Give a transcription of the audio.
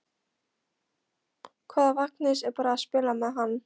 Hvað ef Agnes er bara að spila með hann?